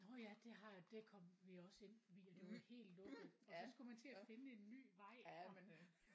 Nåh ja det har det kom vi også ind via det var helt lukket og så skulle man til at finde en ny vej og